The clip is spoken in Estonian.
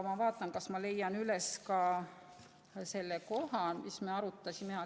" Ma vaatan, kas ma leian üles ka selle koha, mida me arutasime.